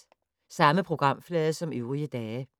Samme programflade som øvrige dage